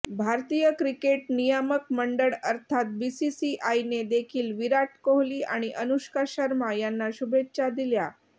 भारतीय क्रिकेट नियामक मंडळ अर्थात बीसीसीआयने देखील विराट कोहली आणि अनुष्का शर्मा यांना शुभेच्छा दिल्या